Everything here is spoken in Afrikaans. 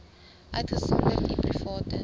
uitgesonderd u private